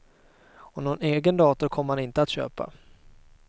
Och någon egen dator kommer han inte att köpa.